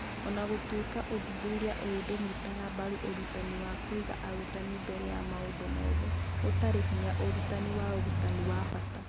O na gũtuĩka ũthuthuria ũyũ ndũnyitaga mbaru ũrutani wa kũiga arutani mbere ya maũndũ mothe (gũtarĩ hinya ũrutani wa ũrutani wa bata).